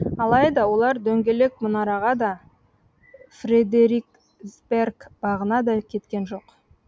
алайда олар дөңгелек мұнараға да фредериксберг бағына да кеткен жоқ